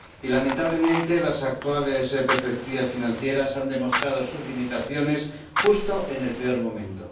Y, lamentablemente, las actuales perspectivas financieras han demostrado sus limitaciones, justo en el peor momento